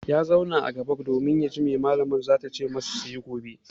Ya zauna a gaba domin ya ji abin da mallaman za ta ce masu su yi gobe.